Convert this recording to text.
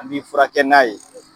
An b'i furakɛ n'a ye